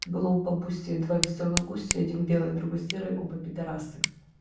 было у бабуси два весёлых гуся один белый другой серый оба пидорасы